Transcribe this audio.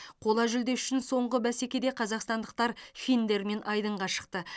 қола жүлде үшін соңғы бәсекеде қазақстандықтар финдермен айдынға шықты